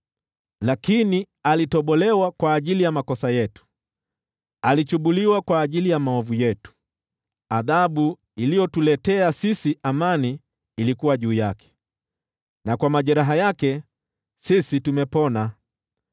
Lakini alitobolewa kwa ajili ya makosa yetu, alichubuliwa kwa ajili ya maovu yetu; adhabu iliyotuletea sisi amani ilikuwa juu yake, na kwa majeraha yake sisi tumepona.